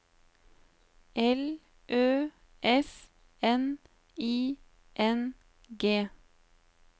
L Ø S N I N G